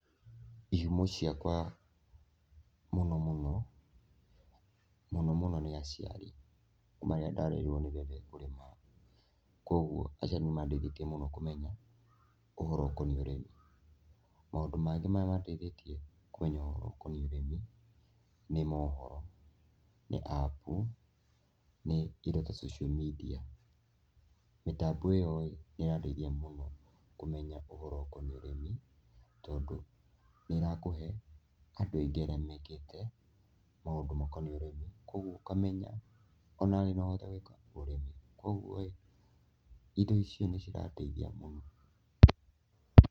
Ihumo ciakwa mũno mũno, mũno mũno nĩ aciarĩ kuma rĩrĩa ndarerirwo nĩ ndarutirwo kũrĩma, kũoguo aciarĩ nĩ mandeithĩtie mũno kũmenya ũhoro ũkoniĩ ũrĩmi. Maũndũ mangĩ marĩa mandeithĩtie kũmenya ũhoro ũkoniĩ ũrĩmi nĩ mohoro, nĩ apu, nĩ indo ta cocio mindia. Mĩtambo ĩo-rĩ nĩ ĩrandeithia mũno kũmenya ũhoro ũkoniĩ ũrĩmi tondũ nĩ ĩrakũhe andũ aingĩ arĩa mekĩte maũndũ makoniĩ ũrĩmi, kũoguo ũkamenya onawe no ũhote gwĩka atĩa? ũrĩmi, ũoguo-ĩ, indo icio nĩ cirandeithia.